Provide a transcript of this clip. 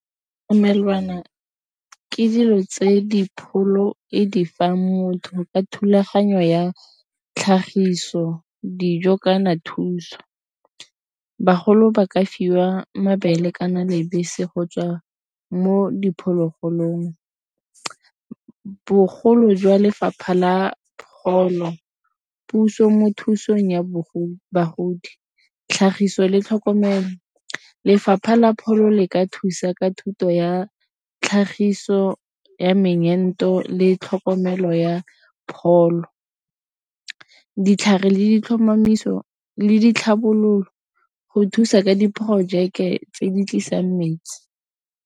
Ditlamelwana ke dilo tse dipholo e di fa motho ka thulaganyo ya tlhagiso dijo kana thuso. Bagolo ba ka fiwa mabele kana le bese go tswa mo diphologolong. Bogolo jwa Lefapha la Pholo puso mo thusang ya bogobe tlhagiso le tlhokomelo Lefapha la Pholo le ka thusa ka thuto ya tlhagiso ya meento le tlhokomelo ya pholo ditlhare le ditlhomamiso le ditlhabololo go thusa ka diporojeke tse di tlisang metsi.